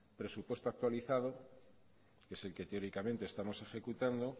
presupuesto actualizado que es el que teóricamente estamos ejecutando